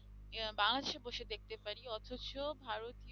বাংলাদেশে বসে দেখতে পারি অথচ ভারতীয়